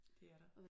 Det er der